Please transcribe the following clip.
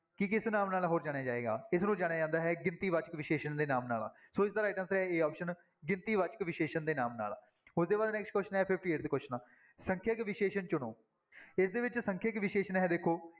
ਕਿ ਕਿਸ ਨਾਮ ਨਾਲ ਹੋਰ ਜਾਣਿਆ ਜਾਏਗਾ, ਇਸਨੂੰ ਜਾਣਿਆ ਜਾਂਦਾ ਹੈ ਗਿਣਤੀ ਵਾਚਕ ਵਿਸ਼ੇਸ਼ਣ ਦੇ ਨਾਮ ਨਾਲ, ਸੋ ਇਸਦਾ right answer ਹੈ a option ਗਿਣਤੀ ਵਾਚਕ ਵਿਸ਼ੇਸ਼ਣ ਦੇ ਨਾਮ ਨਾਲ, ਉਹਦੇ ਬਾਅਦ next question ਹੈ fifty-eighth question ਸੰਖਿਅਕ ਵਿਸ਼ੇਸ਼ਣ ਚੁਣੋ, ਇਸਦੇ ਵਿੱਚ ਸੰਖਿਅਕ ਵਿਸ਼ੇਸ਼ਣ ਹੈ ਦੇਖੋ